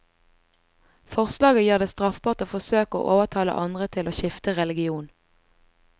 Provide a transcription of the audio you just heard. Forslaget gjør det straffbart å forsøke å overtale andre til å skifte religion.